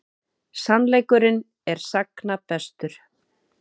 Sannleikurinn er sagna bestur.